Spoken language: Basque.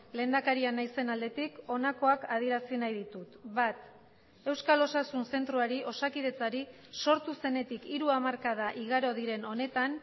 lehendakaria naizen aldetik honakoak adierazi nahi ditut bat euskal osasun zentroari osakidetzari sortu zenetik hiru hamarkada igaro diren honetan